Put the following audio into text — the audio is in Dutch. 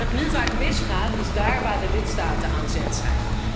Waar het nu vaak mis gaat, is daar waar de lidstaten aan zet zijn.